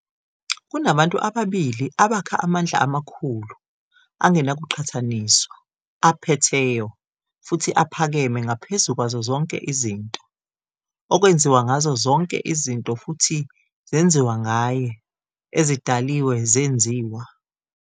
Kunabantu ababili abakha amandla amakhulu, angenakuqhathaniswa, aphetheyo, futhi aphakeme ngaphezu kwazo zonke izinto, okwenziwa ngazo zonke izinto futhi zenziwa ngaye, ezidaliwe zenziwa.